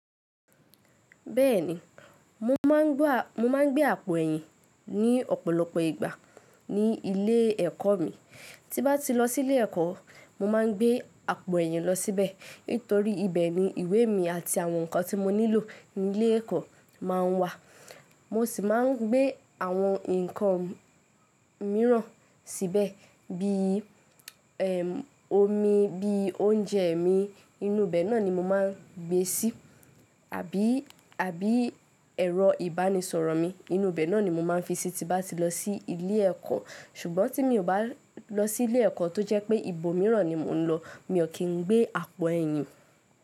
Bẹ́ẹ̀ni, mo máà ń gbé àpò ẹ̀yìn ní ọ̀pọ̀lọpọ̀ ìgbà ní ilé ẹ̀kọ́ mi. Tí bá ti lọ sí ilé ẹ̀kọ́, mo máà ń gbé àpò ẹ̀yìn lọ síbẹ̀, nítorí ibẹ̀ ni ìwé mi àti àwọn nǹkan tí mo nílò ní ilé ẹ̀kọ́ máa ń wà. Mo sì máà ń gbé àwọn nǹkan mìíràn síbẹ̀ bí i omi, bí i oúnjẹ mi, inú ibẹ̀ náà ni mo máà ń gbé síi àbí ẹ̀rọ ìbánisọ̀rọ̀ mi, inú ibẹ̀ náà ni mo máa ń fi síi tí bá ti lọ sí ilé ẹ̀kọ́. Ṣùgbọ́n tí mi ò bá lọ sí ilé ẹ̀kọ́ tó jẹ́ pé ibòmíràn ni mò ń lọ, mi ò kín ń gbé àpò ẹ̀yìn.